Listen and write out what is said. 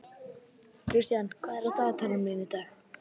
Kristian, hvað er í dagatalinu mínu í dag?